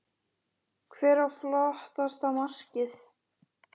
Hver á flottasta markið?